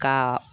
Ka